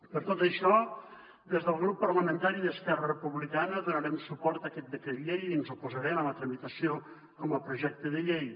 per tot això des del grup parlamentari d’esquerra republicana donarem suport a aquest decret llei i ens oposarem a la tramitació com a projecte de llei